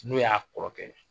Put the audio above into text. N'o y'a kɔrɔkɛ